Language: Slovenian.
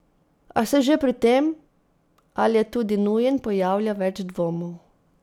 A se že pri tem, ali je tudi nujen, pojavlja več dvomov.